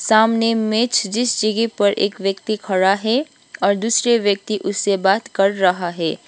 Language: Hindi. सामने मेज जिस जगह पर एक व्यक्ति खड़ा है और दूसरे व्यक्ति उससे से बात कर रहा है।